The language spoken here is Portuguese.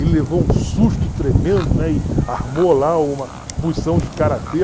Ele levou um susto tremendo, né, e armou lá uma posição de karatê.